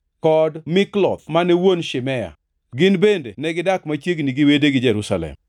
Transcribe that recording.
kod Mikloth mane wuon Shimea. Gin bende negidak machiegni gi wedegi Jerusalem.